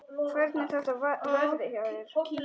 Hvernig þetta verði hjá mér.